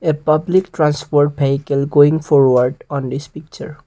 a public transport vehicle going for what on this picture.